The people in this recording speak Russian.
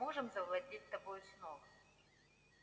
мы можем завладеть тобою снова